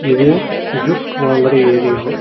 இது கிஃப்ட் வாங்கற ஏரியா .